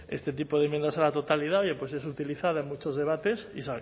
este tipo de enmiendas a la totalidad oye pues es utilizada en muchos debates y